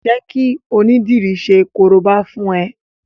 Jẹ́ kí onídìri ṣe korobá fún ẹ!